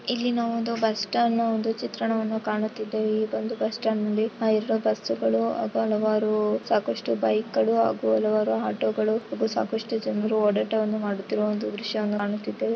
ಇಲ್ಲಿ ನಾವು ಒಂದು ಬಸ್ಸ್ಟ್ಯಾಂಡ್ ನ ಚಿತ್ರ ಕಾಣುತ್ತಿದ್ದೇವೆ ಈ ಒಂದು ಬಸ್ ಸ್ಟಾಂಡ್ ಮುಂದೆ ಹಾಲವರು ಬಸ್ಸು ಮಾತು ಹಲವಾರು ಬೈಕ್ಗ ಳು ಹಲವಾರು ಆಟೋ ಗಳು ಸಾಕಷ್ಟು ಜನರು ಹೋರಾಟವನ್ನು ಮಾಡುತ್ತಿರುವ ದೃಶ್ಯವನ್ನು ಕಾಣುತ್ತೇವೆ.